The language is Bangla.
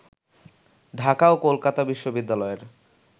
ঢাকা ও কলকাতা বিশ্ববিদ্যালয়ের